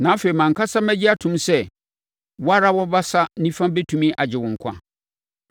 Na afei mʼankasa mɛgye atom sɛ wo ara wo basa nifa bɛtumi agye wo nkwa.